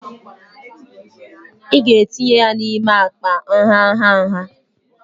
ị ga-etinye ya n'ime akpa nha nha nha